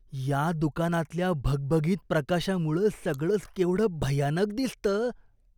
या दुकानातल्या भगभगीत प्रकाशामुळं सगळंच केवढं भयानक दिसतं.